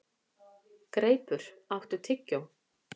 Greipur, áttu tyggjó?